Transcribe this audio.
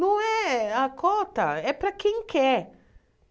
Não é a cota, é para quem quer.